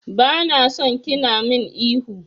Bana son kina min ihu.